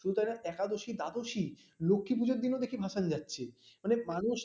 শুধু তারা একাদশী দ্বাদশী লক্ষ্মী পুজোর দিনও দেখি ভাসান যাচ্ছে মানে মানুষ